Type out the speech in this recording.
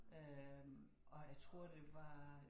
Øh og jeg tror det var